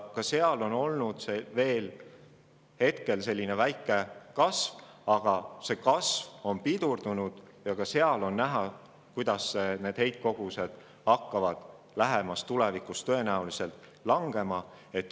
Ka seal heitkogused hetkel kasvavad, aga see kasv on pidurdunud ja ka seal on näha, kuidas need heitkogused hakkavad lähemas tulevikus tõenäoliselt langema.